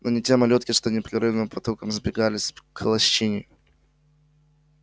но не те малютки что непрерывным потоком сбегались к лощине